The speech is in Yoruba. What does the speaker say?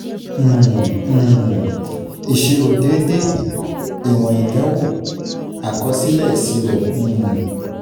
um um Ìṣirò déédé, Ìwọ̀n Ìdánwò, Àkọsílẹ̀ ìṣirò. um